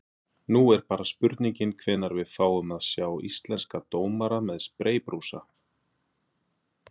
Nú er bara spurningin hvenær við fáum að sjá íslenska dómara með spreybrúsa?